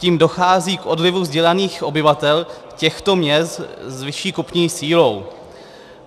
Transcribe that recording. Tím dochází k odlivu vzdělaných obyvatel těchto měst s vyšší kupní sílou.